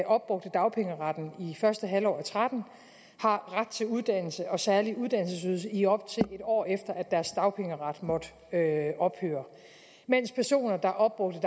opbrugte dagpengeretten i første halvår af og tretten har ret til uddannelse og særlig uddannelsesydelse i op til en år efter at deres dagpengeret måtte ophøre mens personer der opbrugte